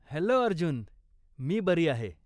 Hello Arjun! मी बरी आहे.